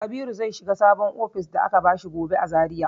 Kabiru zai shiga sabon ofishin da aka bashi gobe a Zariya.